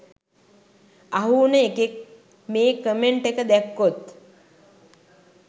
අහු උන එකෙක් මේ කමෙන්ට් එක දැක්කොත්